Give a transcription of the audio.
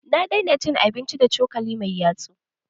Na daina cin abinci da cokali mai yatsu